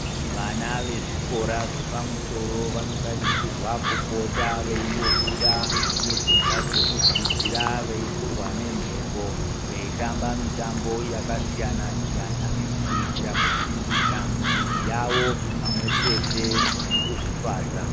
Vana vezvikora zvepamusoro vanotarisirwa kupota veimbobuda mudzimba dzekudzidzira veifurwa ngemhepo veitamba mitambo yakasiyana siyana kuitira kusimbisa muviri yavo pamwe chete nekuzvifadza.